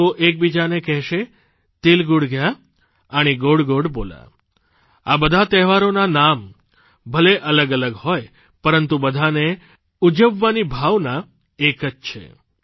લોકો એક બીજાને કહેશે તિલ ગુડ ધ્યા આણિ ગોડ બોલા આ બધા તહેવારોનાં નામ ભલે અલગ અલગ હોય પરંતુ બધાને ઉજવવાની ભાવના એક છે